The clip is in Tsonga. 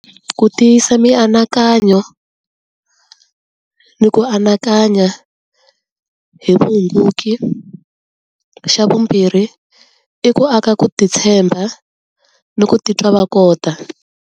Ku tiyisa mianakanyo ni ku anakanya hi vuhunguki, xa vumbirhi i ku aka ku titshemba ni ku titwa va kota.